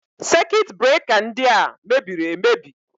Sekit breka ndị a mebiri emebi.